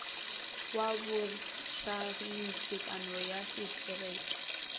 wa bogareng tekanyong ya setereke